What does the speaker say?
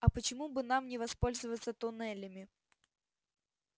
а почему бы нам не воспользоваться туннелями